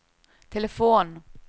telefon